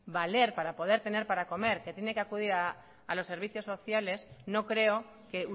valer para poder tener para comer que tiene que acudir a los servicios sociales no creo que